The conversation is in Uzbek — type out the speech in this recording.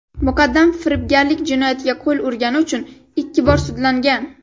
muqaddam firibgarlik jinoyatiga qo‘l urgani uchun ikki bor sudlangan.